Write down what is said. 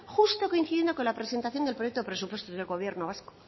justo coincidiendo con la presentación del proyecto presupuestos del gobierno vasco